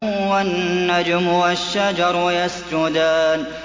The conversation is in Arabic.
وَالنَّجْمُ وَالشَّجَرُ يَسْجُدَانِ